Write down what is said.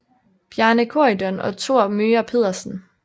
Bjarne Corydon og Thor Möger Pedersen